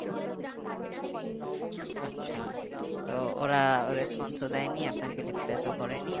আচ্ছা তো ওরা response ও দেয়নি আপনাকে replace ও করেনি